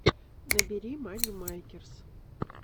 набери мани мэйкерс